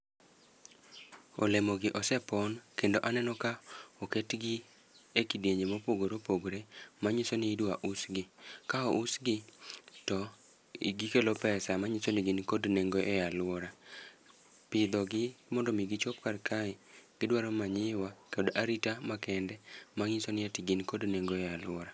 Olemo gi ose pon kendo aneno ka oketgi e kidienje mopogore opogore, ma nyiso ni idwa us gi. Ka ous gi to gikelo pesa ma nyiso ni gin kod nengo e alwora. Pidho gi mondo mi gichop kar kae, gidwaro manyiwa kod arita ma kende, ma ng'iso ni ati gin kod nengo e alwora.